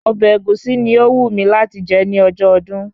Ọbẹ̀ Ẹ̀gúsí ni ó wù mí láti jẹ ní ọjọ́ ọdún